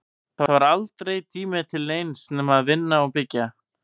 Það var aldrei tími til neins nema að vinna og byggja.